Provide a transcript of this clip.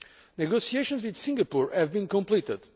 negotiations with Singapore have been completed